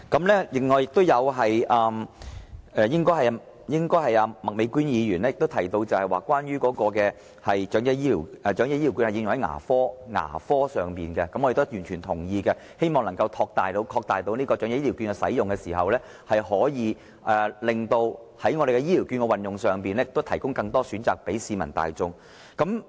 另外，應該是麥美娟議員提及關於長者醫療券應可用在牙科上，我們亦完全同意，希望擴大長者醫療券的使用，可以令醫療券在運用上提供更多選擇給市民大眾。